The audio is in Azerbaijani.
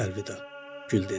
Əlvida, gül dedi.